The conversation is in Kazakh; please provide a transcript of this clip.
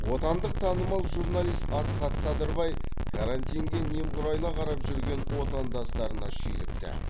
отандық танымал журналист асхат садырбай карантинге немқұрайлы қарап жүрген отандастарына шүйлікті